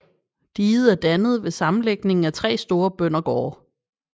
Diget er dannet ved sammenlægning af 3 store bøndergårde